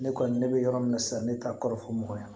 Ne kɔni ne bɛ yɔrɔ min na sisan ne ta kɔrɔfɔ mɔgɔ ye